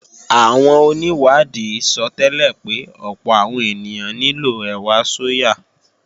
Àwọn onìwádìí sọtẹ́lẹ̀ pé ọ̀pọ̀ àwọn ènìyàn nílò ẹ̀wà sóyà